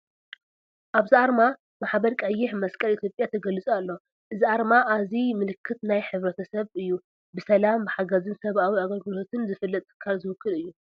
ኣብዚ ኣርማ “ማሕበር ቀይሕ መስቀል ኢትዮጵያ” ተገሊፁ ኣሎ። እዚ ኣርማ እዚ ምልክት ናይቲ ሕብረተሰብ ኮይኑ፡ ብሰላም፡ ብሓገዝን ሰብኣዊ ኣገልግሎትን ዝፍለጥ ትካል ዝውክል እዩ።